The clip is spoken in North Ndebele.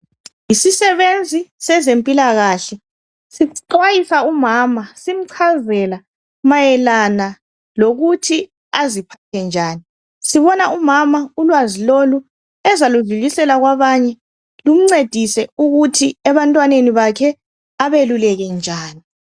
Yisisebenzi sezempilakahle. Sixwayisa umama simchazela mayelana lokuthi aziphathe njani. Sibona umama ulwazi lolu ezaludlulisela kwabanye, lumncedise ukuthi ebantwaneni bakhe, abeluleke njani.